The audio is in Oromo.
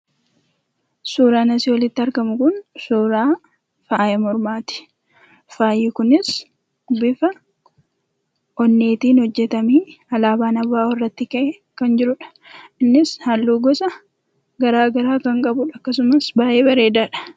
Suuraan asii oliitti argamu kun suuraa faaya mormaati. Faayi kunis bifa onneetiin hojjetamee, alaabaan ABO irratti ka'ee kan jirudha. Innis halluu gosa garaa garaa kan qabudha. Akkasumas baay'ee bareedaadha.